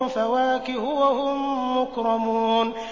فَوَاكِهُ ۖ وَهُم مُّكْرَمُونَ